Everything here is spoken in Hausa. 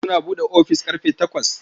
Suna buɗe ofis ƙarfe takwas.